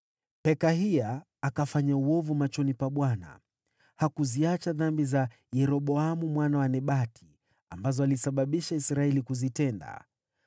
Pekahia akafanya uovu machoni pa Bwana . Hakuziacha dhambi za Yeroboamu mwana wa Nebati, ambazo alisababisha Israeli kuzitenda.